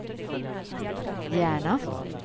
Järna